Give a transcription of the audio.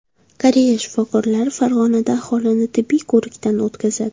Koreya shifokorlari Farg‘onada aholini tibbiy ko‘rikdan o‘tkazadi.